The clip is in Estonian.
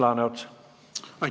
Aitäh!